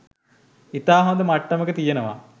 ඉතා හොඳ මට්ටමක තියනව.